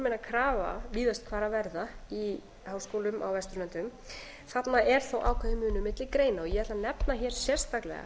almenna krafa víðast hvar að verða í háskólum á vesturlöndum þarna er þó ákveðinn munur milli greina ég ætla að nefna hér sérstaklega